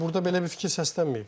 Burda belə bir fikir səslənməyib.